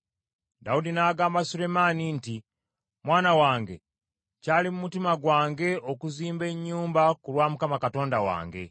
Dawudi n’agamba Sulemaani nti, “Mwana wange, kyali mu mutima gwange okuzimba ennyumba ku lwa Mukama Katonda wange.